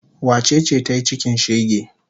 Wace ce ta yi cikin shege?